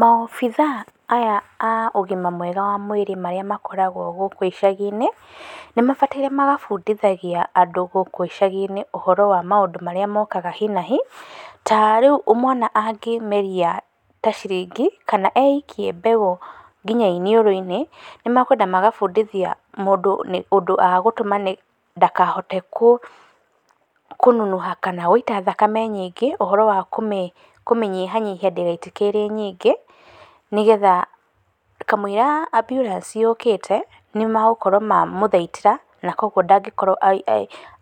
Maobica aya a ũgima mwega wa mwĩrĩ marĩa makoragwo gũkũ icagi-inĩ nĩ mabatiĩ magabuthindagia andu gũkũ icagi-inĩ ũhoro wa maũndũ marĩa mokaga hi na hi tarĩu mwana angĩmeria ta ciringi kana e ikie mbegũ nginya iniũrũ-inĩ nĩ makwenda magabundithia mũndũ ũndũ agũtũma ndakahote kũnunuha kana gũita thakame nyingĩ ũhoro wa kũmĩnyihanyihia ndĩgaitĩke ĩ nyingĩ nĩgetha kamũiria amburanci yokĩte nĩ magũkorwo mamũthaitĩra na kwoguo ndagĩkorwo